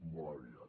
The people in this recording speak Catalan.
molt aviat